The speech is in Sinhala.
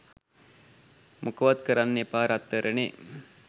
මොකවත් කරන්න එපා රත්තරනේ